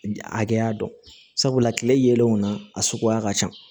Hakɛya dɔn sabula tile yelenw na a suguya ka ca